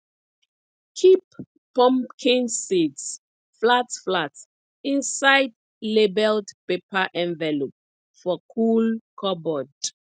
keep pumpkin seeds flat flat inside labelled paper envelope for cool cupboard